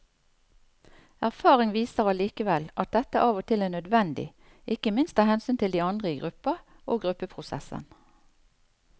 Erfaring viser allikevel at dette av og til er nødvendig, ikke minst av hensyn til de andre i gruppa og gruppeprosessen.